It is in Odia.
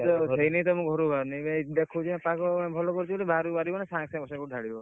ସେଇ ଲାଗି ତ ମୁଁ ଘରୁ ବାହାରୁନି ଦେଖୁଛି ପାଗ ଭଲ କରୁଛି ମାନେ ବାହାର କୁ ବାହାରିବ ମାନେ ସାଙ୍ଗେ ସାଙ୍ଗେ ସାଙ୍ଗେ ବର୍ଷା ଢାଳିବ।